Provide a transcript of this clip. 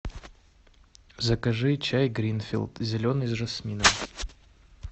закажи чай гринфилд зеленый с жасмином